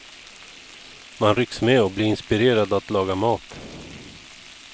Man rycks med och blir inspirerad att laga mat.